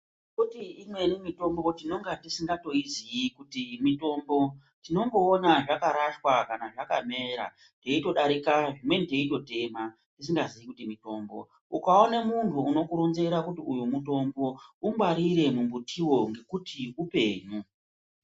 Kuti imweni mitombo tinonga tisingatoiziyi kuti mitombo tinongoona zvakarashwa kana zvakamera teindodarika zvimweni teindotema tisingaziyi kuti mitombo, ukaone muntu unokuronzera kuti uyu mutombo mungwarire mumbutiwo ngekuti upenyu.